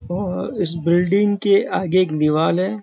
ओर इस बिल्डिंग के आगे एक दीवाल है।